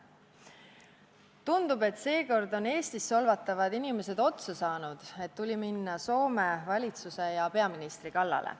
Tundub, et seekord on Eestis solvatavad inimesed otsa saanud, mistõttu tuli minna Soome valitsuse ja sealse peaministri kallale.